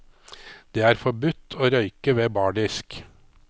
Det er forbudt å røyke ved bardisk.